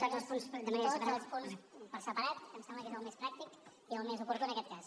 tots els punts per separat que em sembla que és el més pràctic i el més oportú en aquest cas